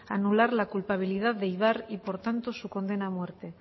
anular la culpabilidad de ibar y por tanto su condena a muerte